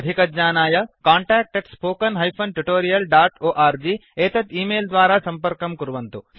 अधिकज्ञानाय contactspoken tutorialorg एतत् email द्वारा सम्पर्कं कुर्वन्तु